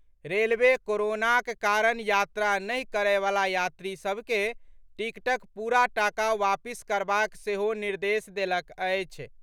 Railway कोरोनाक कारण यात्रा नहि करयवला यात्री सभ के टिकटक पूरा टाका वापिस करबाक सेहो निर्देश देलक अछि।